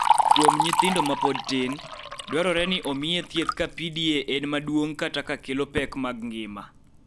Kuom nyithindo ma pod tin, dwarore ni omiye thieth ka PDA en maduong� kata ka kelo pek mag ngima.